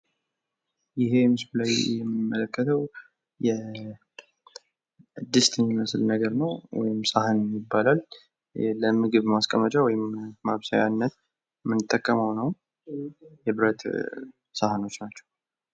ይህ ምስሉ ላይ የምንመለከተው ድስት የሚመስል ነገር ነው ሰሃን ይባላል ለ ምግብ ማስቀመጫ ወይም ማብሰያነት ምንጠቀመው ነው የብረት ሰሃኖች ናቸው ።